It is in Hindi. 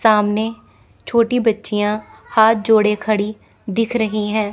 सामने छोटी बच्चिया हाथ जोड़े खड़ी दिख रही है।